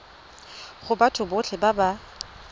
go batho botlhe ba ba